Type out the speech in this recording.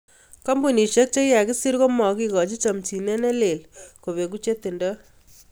Kambunisiek chikikakesir komakikochin chomchinet ne lel kopengu chetindo.